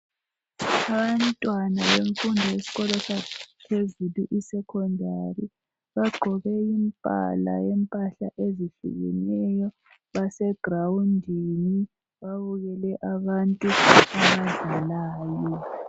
Abantwana bemfundo yeskolo saphezulu, iSecondary, bagqoke imbala yempahla ezihlukeneyo, basegrawundini babukele abantu abadlalayo.